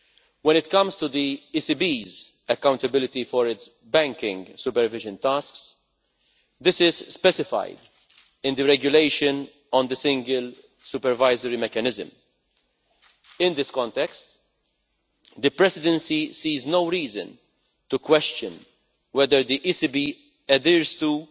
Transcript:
When it comes to the ECB's accountability for its banking supervision tasks, this is specified in the regulation on the Single Supervisory Mechanism. In this context, the Presidency sees no reason to question whether the ECB adheres to